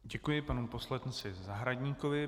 Děkuji panu poslanci Zahradníkovi.